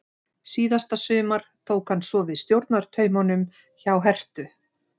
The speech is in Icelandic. Síðasta sumar tók hann svo við stjórnartaumunum hjá Herthu.